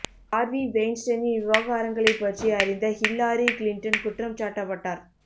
Harvey வெய்ன்ஸ்டைனின் விவகாரங்களைப் பற்றி அறிந்த ஹில்லாரி கிளின்டன் குற்றம் சாட்டப்பட்டார்